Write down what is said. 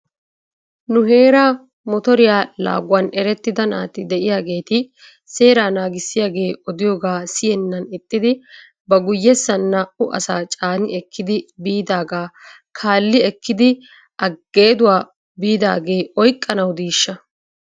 Nu heera motoriyaa laaguwan erettida naati de'iyaageeti seeraa naagissiyaagee odiyoogaa siyennan ixxidi ba guyyessan naa'u asaa caani ekkidi biidaagaa kaali ekkidi ageeduwaa biidaagee a oyqqanaw diishsha?